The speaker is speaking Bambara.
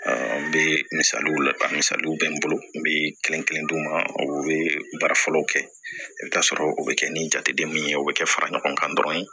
n bɛ misaliw la misaliw bɛ n bolo n bɛ kelen kelen di ma o bɛ baara fɔlɔw kɛ i bɛ taa sɔrɔ o bɛ kɛ ni jateden min ye o bɛ kɛ fara ɲɔgɔn kan dɔrɔn